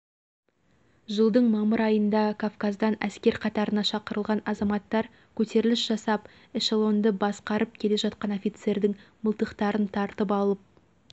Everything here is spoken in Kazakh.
жылдың мамыр айында кавказдан әскер қатарына шақырылған азаматтар көтеріліс жасап эшелонды басқарып келе жатқан офицердің мылтықтарын тартып алып